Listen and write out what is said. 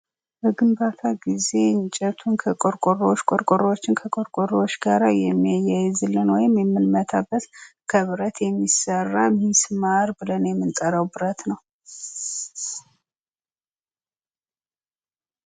በግንባታ ጊዜ እንጨቱን ከቆርቆሮ ቆርቆሮውን ከቆርቆሮ ጋራ የሚያይዝልን ወይም የምንመታበት ከብረት የሚሰራ ሚስማር ብለን የምንጠራው ብረት ነው።